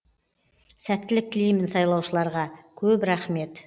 сәттілік тілеймін сайлаушыларға көп рахмет